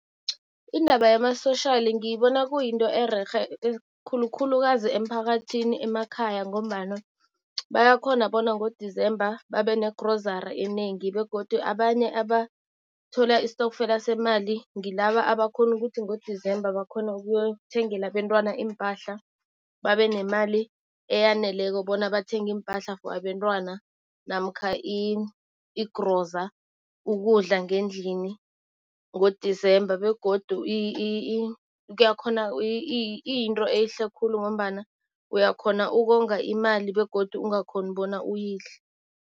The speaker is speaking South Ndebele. Indaba yama-social ngiyibona kuyinto ererhe khulukhulukazi emphakathini emakhaya ngombana bayakhona bona ngo-December babe negrozara enengi. Begodu abanye abathola istokfela semali ngilaba abakhona ukuthi ngo-December bakhone ukuyothengela abentwana iimpahla. Babe nemali eyaneleko bona bathenge iimpahla for abentwana namkha igroza ukudla ngendlini ngo-December begodu kuyakhona iyinto ehle khulu ngombana uyakhona ukonga imali begodu ungakhoni ukuthi uyidle.